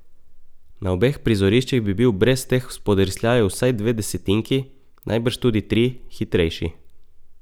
Na obeh prizoriščih bi bil brez teh spodrsljajev vsaj dve desetinki, najbrž tudi tri, hitrejši.